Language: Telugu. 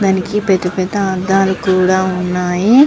దానికి పెద్ద పెద్ద అద్దాలు కూడా వున్నాయ్.